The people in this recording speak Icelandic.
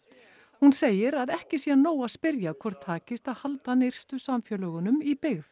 hún segir að ekki sé nóg að spyrja hvort takist að halda nyrstu samfélögunum í byggð